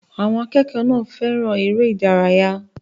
Àwọn akẹ́kọ̀ọ́ náà fẹ́ràn eré ìdárayá.